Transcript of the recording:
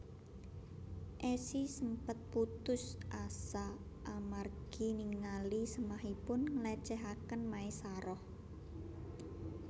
Esi sempet putus asa amargi ningali sémahipun nglécéhaken Maesaroh